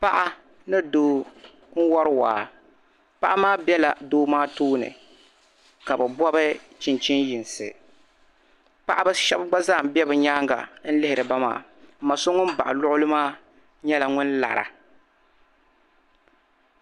paɣa ni doo n-wari waa paɣa maa bela doo maa tooni ka bɛ gɔbi chinchin'yinsi paɣiba shɛba gba zaa be bɛ nyaaŋa n-lihiri ba maa m-ma so ŋun baɣi luɣuli maa nyɛla ŋun lara